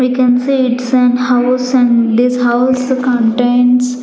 we can see it's an house and this house contains--